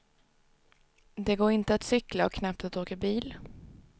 Det går inte att cykla och knappt att åka bil.